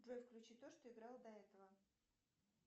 джой включи то что играло до этого